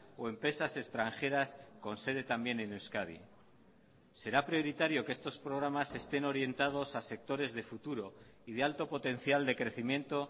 o empresas extranjeras con sede también en euskadi será prioritario que estos programas estén orientados a sectores de futuro y de alto potencial de crecimiento